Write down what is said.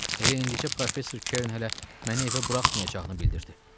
Elə indi isə Professor Keren hələ məni evə buraxmayacağını bildirdi.